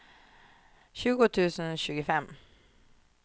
tjugo tusen tjugofem